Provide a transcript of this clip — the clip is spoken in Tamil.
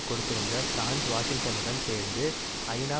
கொடுத்திருந்த பிரான்ஸ் வாஷிங்டனுடன் சேர்ந்து ஐநா